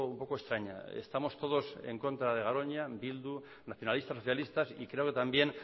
poco extraña estamos todos en contra de garoña bildu nacionalistas socialistas y creo que también